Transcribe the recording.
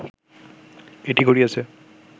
এটি ঘটিয়েছে